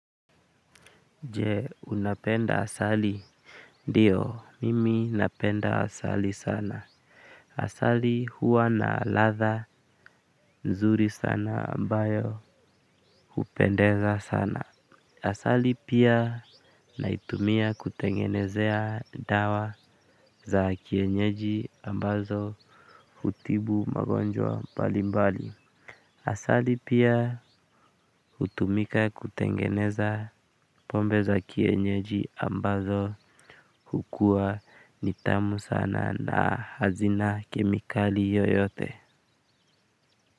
Je, unapenda asali? Ndiyo mimi napenda asali sana asali huwa na ladha nzuri sana ambayo hupendeza sana. Asali pia naitumia kutengenezea dawa za kienyeji ambazo hutibu magonjwa mbalimbali. Asali pia hutumika kutengeneza pombe za kienyeji ambazo hukuwa ni tamu sana na hazina kemikali yoyote.